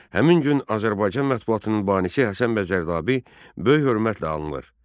Həmin gün Azərbaycan mətbuatının banisi Həsən bəy Zərdabi böyük hörmətlə anılır.